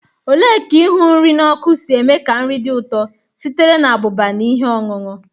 Ole ka Ihu nri n'oku si eme ka nri dị ụtọ sitere na abụba na ihe ọṅụṅụ?